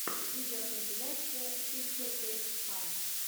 видеокомпиляция пикселкейксфан